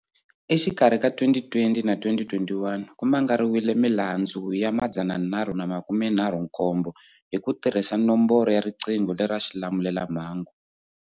Exikarhi ka 2020 na 2021 ku mangariwile milandzu ya 337 hi ku tirhisa nomboro ya riqingho lera xilamulela mhangu.